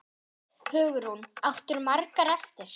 Hugrún: Áttirðu margar eftir?